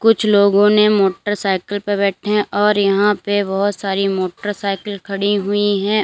कुछ लोगों ने मोटरसाइकिल पे बैठे हैं और यहां पे बहोत सारी मोटरसाइकिल खड़ी हुईं है।